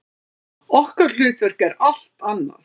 Okkar hlutverk er allt annað.